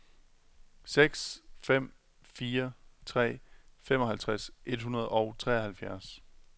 seks fem fire tre femoghalvtreds et hundrede og treoghalvfjerds